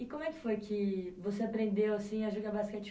E como é que foi que você aprendeu assim a jogar basquete?